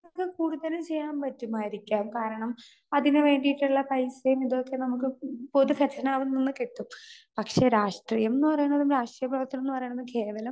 Speaker 2 കൂടുതല് ചെയ്യാൻ പറ്റുമായിരിക്കാം. കാരണം, അതിന് വേണ്ടിയിട്ടുള്ള പൈസയും ഇതൊക്കെ നമുക്ക് പൊതു കത്തനാറിൽ നിന്ന് കിട്ടും . പക്ഷേ, രാഷ്ട്രീയം എന്ന് പറയണതും രാഷ്ട്രീയ പ്രവർത്തനം എന്ന് പറയണതും കേവലം